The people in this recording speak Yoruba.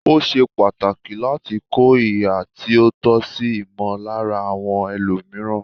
Ó ṣe pàtàkì láti kọ ihà tí ó tọ́ sí ìmọllára àwọn ẹlòmìíràn.